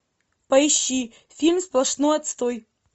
поищи фильм сплошной отстой